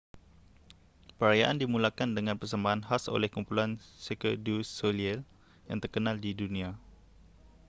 perayaan dimulakan dengan persembahan khas oleh kumpulan cirque du soleil yang terkenal di dunia